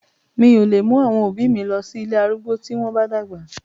Mi ò lè mú àwọn òbí mi lọ sí ilé arúgbó tí wọ́n bá dàgbà.